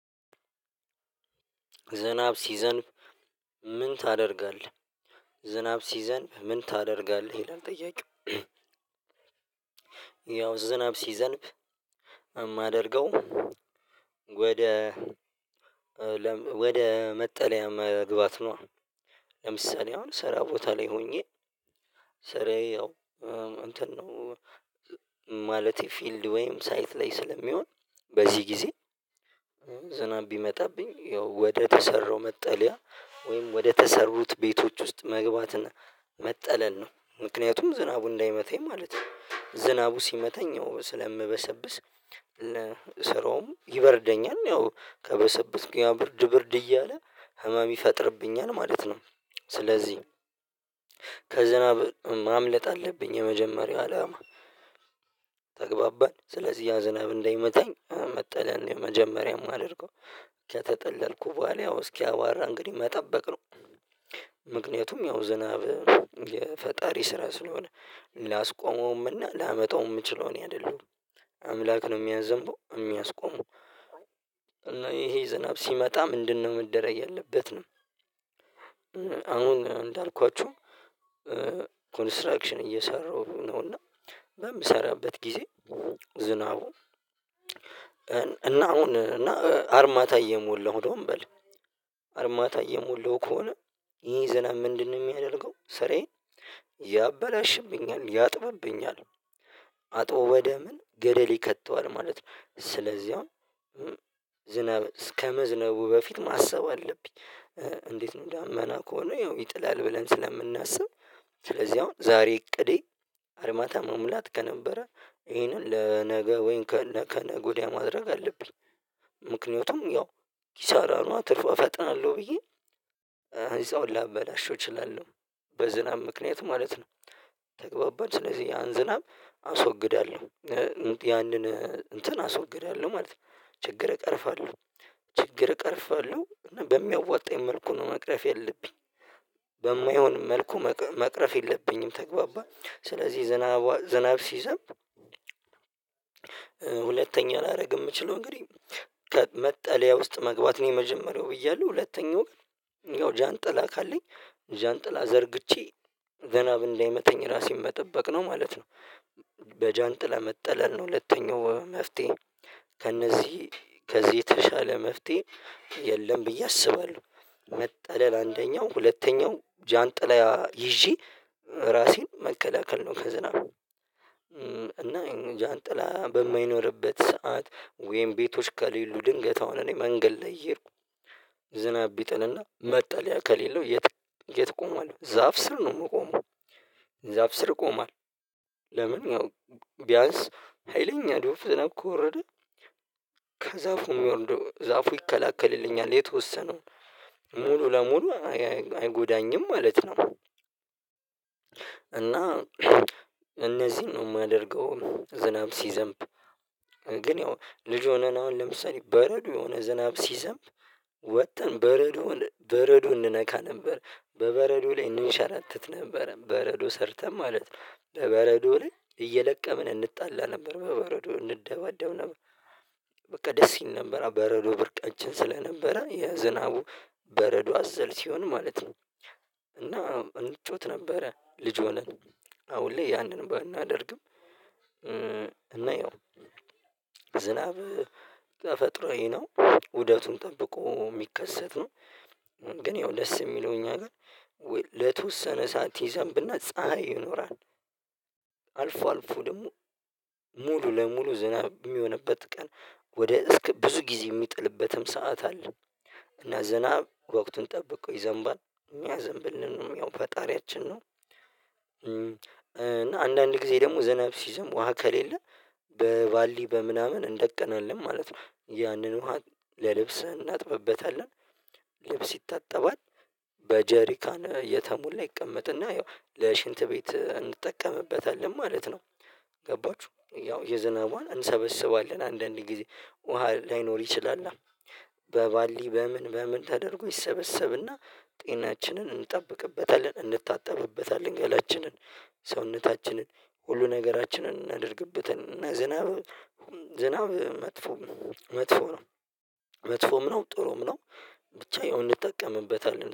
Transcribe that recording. ዝናብ ሲዘንብ ምን ታደርጋለህ? ዝናብ ሲዘንብ ምን ታደርጋለህ ይላል ጥያቄው። ያው ዝናብ ሲዘንብ የማደርገው ወደ ወደ መጠለያ መግባት ነው። ለምሳሌ አሁን ሰራ ቦታ ላይ ሆኜ ሰራዬ ያው እንትን ነው ማለቴ ፊልድ ወይም ሳይት ላይ ስለሚሆን በዚህ ጊዜ ዝናብ ቢመጣብኝ ያው ወደ ተሰራው መጠለያ ወይም ወደ ተሰሩት ቤቶች ውስጥ መግባትና መጠለል ነው። ምክንያቱም ዝናቡ እንዳይመታኝ ማለት ነው ዝናቡ ሲመታኝ ስለምበሰብስ ስራውም ይበርደኛል ያው ከበሰበስኩኝ ብርድ ብርድ እያለ ህመም ይፈጥርብኛል ማለት ነው። ስለዚህ ከዝናብ ማምለጥ አለብኝ የመጀመሪያው አላማ። ተግባባን ስለዚህ ያ ዝናብ እንዳይመታኝ መጥልያ የመጀመሪያውም የማደርገው ከተጠለልኩ በኋላ ያው እስኪያ አቧራ እንግዲህ መጠበቅ ነው። ምክንያቱም ያው ዝናብ የፈጣሪ ስራ ስለሆነ ላስቆመውምና ላመጣውም የምችለው እኔ አይደለሁም አምላክ ነው የሚያዘንበው የሚያስቆመው። እና ይሄ ዝናብ ሲመጣ ምንድነው መደረግ ያለበት? እንዳልኳችሁ ኮንስትራክሽን እየሰራሁ ነውና በምሰራበት ጊዜ ዝናቡ እና አሁን እና አርማታ እየሞላሁ ደግሞ በል አርማታ እየሞላሁ ከሆነ ይሄ ዝናብ ምንድነው የሚያደርገው ስራዬን ያበላሽብኛል ያጥብብኛል አጥቦ ወደ ምን ገደል ይከተዋል ማለት ነው። ስለዚህ አሁን ዝናብ እስከመዝነቡ በፊት ማሰብ አለብኝ። እንዴት ነው ዳመና ከሆነ ያው ይጥላል ብለን ስለምናስብ ስለዚህ አሁን ዛሬ እቅዴ አርማታ መሙላት ከነበረ ይሄንን ለነገ ወይም ከነገ ወዲያ ማድረግ አለብኝ። ምክንያቱም ያው ኪሳራ ነው ትርፍ እፈጥናለሁ ብዬ እዛውን ላበላሸው እችላለሁ በዝናብ ምክንያት ማለት ነው። ተግባባን ስለዚህ ያን ዝናብ አስወግዳለሁ ያንን እንትን አስወግዳለሁ ማለት ነው ችግር እቀርፋለሁ ችግር እቀርፋለሁ እና በሚያወጣኝ መልኩ ነው መቅረፍ የለብኝ። በማይሆን መልኩ መቅረፍ የለብኝም ተግባባን ስለዚህ ዝናብ ዝናብ ሲዘምብ። ሁለተኛ ላደርግ የምችለው እንግዲህ ከመጠለያ ውስጥ መግባት ነው የመጀመሪያው ብያለሁ ሁለተኛው ግን ያው ጃንጥላ ካለኝ ጃንጥላ ዘርግቼ ዘናብ እንደማይመተኝ ራሴን መጠበቅ ነው ማለት ነው። በጃንጥላ መጥለል ነው ሁለተኛው መፍትሄ ከእነዚህ ከዚህ የተሻለ መፍትሄ የለም። ብዬ አስባለሁ መጠለል አንደኛው ሁለተኛው ጃንጥላ ይዤ ራሴን መከላከል ነው። ከዝናቡ እና ጃንጥላ በማይኖርበት ሰዓት ወይም ቤቶች ከሌሉ ድንገት አሁን እኔ መንገድ ላይ እየሄድኩ ዝናብ ቢጥልና መጣልያ ከሌለው የት የት ቆማለሁ ዛፍ ስር ነው የምቆመው? ዛፍ ስር ቆማለው ለምን ያው ቢያንስ ሀይለኛ ዶብ ዝናብ ከወረደ ከዛፉ ዛፉ ይከለክልልኛል የተወሰነውን ሙሉ ለሙሉ አይጎዳኝም ማለት ነው። እና እነዚህን ነው የማደርገው ዝናብ ሲዘንብ ግን ያው ልጅ ሆነን አሁን ለምሳሌ በረዶ የሆነ ዝናብ ሲዘንብ ወጥተን በረዶን በረዶ እንነካ ነበር በበረዶ ላይ እንንሸራተት ነበረ በረዶ ሰርተን ማለት ነው በበረዶ ላይ እየለቀምን እንጣላ ነበር በበረዶ እንደባደብ ነበር። በቃ ደስ ይል ነበር በረዶ ብርቃችን ስለነበረ የዝናቡ በረዶ አዘል ሲሆን ማለት ነው። እና እንጫዎት ነበረ ልጅ ሆነን አሁን ላይ ያንን ባናደርግም ያው ዝናብ ተፈጥሮኝ ነው ውደቱን ጠብቆ የሚከሰት ነው። ግን ያው ደስ የሚለው እኛ ጋር ለተወሰነ ሰዓት ይዘን ብናይ ይኖራል። አልፎ አልፎ ደግሞ ሙሉ ለሙሉ ዝናብ የሚሆንበት ቀን ወደ እስከ ብዙ ጊዜ የሚጥልበትም ሰዓት አለ። እና ዝናብ ወቅቱን ጠብቆ ይዘንባል ሚያዘምብልን ነው ያው ፈጣሪያችን ነው። እና አንዳንድ ጊዜ ደግሞ ዝናብ ሲዘም ውሃ ከሌለ በቫልዲ በምናምን እንደቅናለን ማለት ነው ያንን ውሃ ለልብስ እናጥብበታለን ልብስ ይጠባል በጀሪካን የተሞላ ይቀመጥና ያው ለሽንት ቤት እንጠቀምበታለን ማለት ነው። ገባችሁ ያው የዝናቧን እንሰበስባለን አንዳንድ ጊዜ ውሃ ላይኖር ይችላል። በባልዲ በምን በምን ተደርጎ ይሰበሰብና ጤናችንን እንጠብቅበታለን እንታጠብበታለን ገላችንን ሰውነታችንን ሁሉ ነገራችንን እናደርግበት እና ዝናብ ዝናብ መጥፎ መጥፎ ነው መጥፎም ነው ጥሩም ነው። ብቻ የሆነ እንጠቀምበታለን